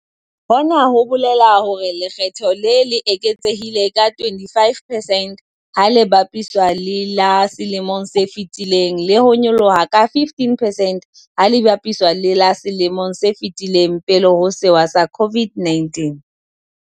Hona ho bolela hore lekge tho le le eketsehile ka 25 percent ha le bapiswa le la selemong se fetileng le ho nyolloha ka 15 percent ha le bapiswa le la selemong se fetileng pele ho sewa sa COVID-19.